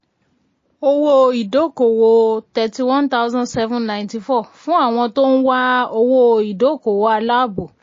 owó-ìdókòwò thirty one thousand seven ninety four fún àwọn tó ń wá owó-ìdókòwò aláàbò.